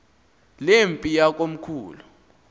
le mpi yakomkhulu